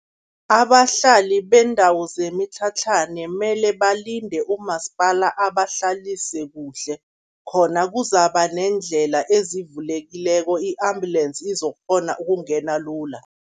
Abahlali beendawo zemitlhatlhane mele balinde umasipala abahlalise kuhle, khona kuzaba neendlela ezivulekileko i-ambulensi izokghona ukungena lula.